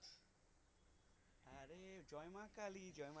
জয় মা কালি জয় মা কালি।